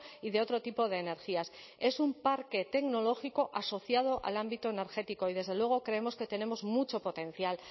y de otro tipo de energías es un parque tecnológico asociado al ámbito energético y desde luego creemos que tenemos mucho potencial